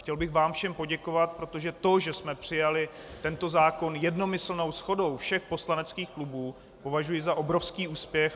Chtěl bych vám všem poděkovat, protože to, že jsme přijali tento zákon jednomyslnou shodou všech poslaneckých klubů, považuji za obrovský úspěch.